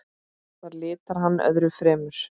Það litar hann öðru fremur.